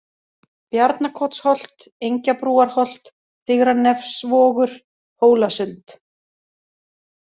Bjarnakotsholt, Engjabrúarholt, Digranefsvogur, Hólasund